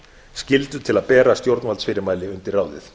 skyldu til að bera stjórnvaldsfyrirmæli undir ráðið